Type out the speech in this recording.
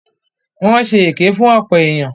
Wọ́n ṣe èké fún ọ̀pọ̀ èyàn.